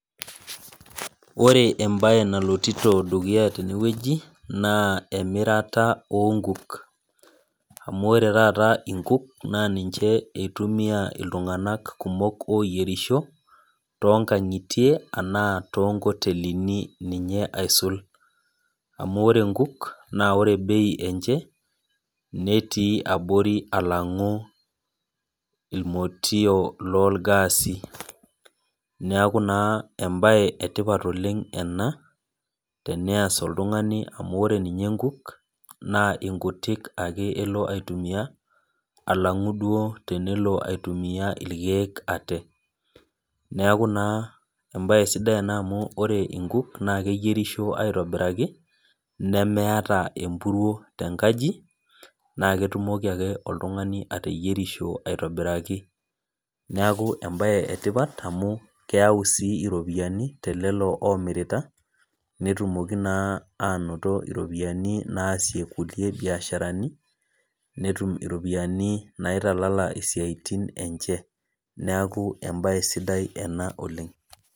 Ore enae nalotito idamunot teneweji naa emirata oo nkuk amu ore taata inkuk naa ninche itumia iltung'ana kumok oyierisho too nkang'itie arashu too nkotelini ninye aisul. Amu ore inkuk naa ore bei enche netii abori along irmotio loo ir gas i.Neeku naa ebae etipat oleng ena tenayas oltung'ani amu ore ninye inkuk naa onkutik ake elo aitumia alangu duo tenelo aitumia irkeek ate. Neeku naa ebae sidai ena amu ore inkuk naa keyierisho aitobiraki nemeeta empuruo tenkaji. Naa ketumoki ake oltung'ani ateyierisho aitobirak. Neeku ebae etipat amu keyau sii iropiani telelo omirita netumoki naa anoto iropiani naasie kulie biashara ni netum iropiani naitalala isiatin enche. Neeku ebae ena sidai oleng.